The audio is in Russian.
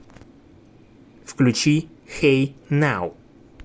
включи хэй нау